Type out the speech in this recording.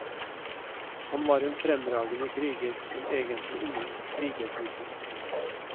Han var en fremragende kriger, men egentlig ingen krigertype.